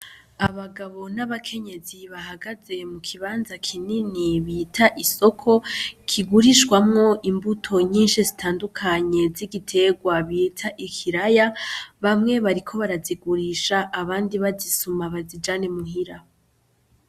Abagabo n’abakenyezi bahagaze mu kibanza kinini bita isoko , kigurishwamwo imbuto nyinshi zitandukanye z’igiterwa bita ikiraya , bamwe bariko barazigurisha abandi bazisuma bazijane muhira.